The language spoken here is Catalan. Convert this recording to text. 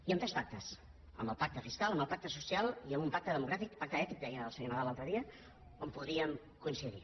i amb tres pactes amb el pacte fiscal amb el pacte social i amb un pacte democràtic o pacte ètic deia el senyor nadal l’altre dia on podríem coincidir